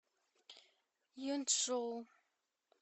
юнчжоу